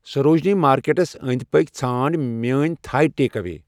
سروجنی مارکیٹَس أنٛدۍ پٔکۍ ژھانٛڑ میٲنِۍ تھائی ٹیک اوے